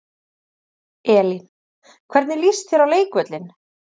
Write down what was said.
Elín: Hvernig líst þér á leikvöllinn?